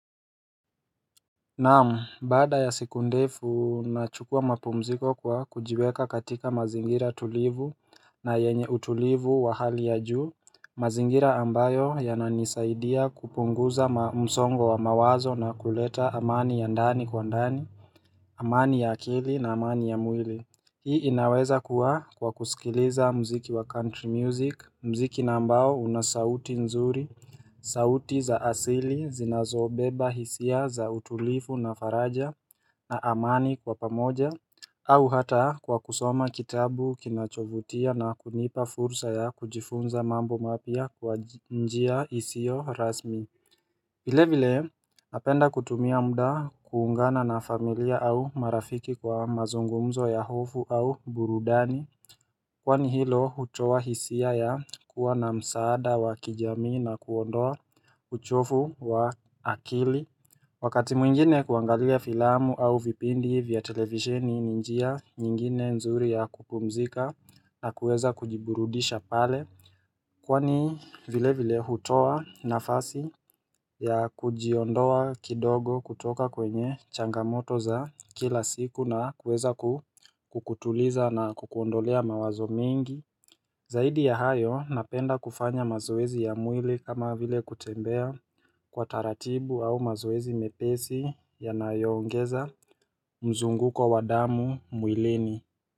Naam, baada ya siku ndefu, nachukua mapumziko kwa kujiweka katika mazingira tulivu na yenye utulivu wa hali ya juu, mazingira ambayo yananisaidia kupunguza msongo wa mawazo na kuleta amani ya ndani kwa ndani, amani ya akili na amani ya mwili. Hii inaweza kuwa kwa kusikiliza mziki wa country music, mziki na ambao una sauti nzuri sauti za asili, zinazobeba hisia za utulifu na faraja na amani kwa pamoja au hata kwa kusoma kitabu kinachovutia na kunipa fursa ya kujifunza mambo mapia kwa njia hisio rasmi vile vile, napenda kutumia muda kuungana na familia au marafiki kwa mazungumzo ya hofu au burudani Kwani hilo, hutoa hisia ya kuwa na msaada wa kijami na kuondoa uchofu wa akili Wakati mwingine kuangalia filamu au vipindi vya televisheni ni njia nyingine nzuri ya kupumzika na kuweza kujiburudisha pale Kwani vile vile hutoa nafasi ya kujiondoa kidogo kutoka kwenye changamoto za kila siku na kueza kukutuliza na kukondolea mawazo mingi. Zaidi ya hayo napenda kufanya mazoezi ya mwili kama vile kutembea kwa taratibu au mazoezi mepesi ya nayo ongeza mzunguko wadamu mwilini.